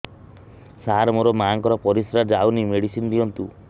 ସାର ମୋର ମାଆଙ୍କର ପରିସ୍ରା ଯାଉନି ମେଡିସିନ ଦିଅନ୍ତୁ